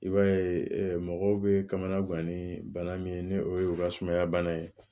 I b'a ye mɔgɔw bɛ kamana gan ni bana min ye ni o ye u ka sumaya bana ye